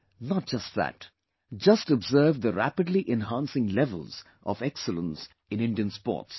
Not just that, just observe the rapidly enhancing levels of excellence in Indian sports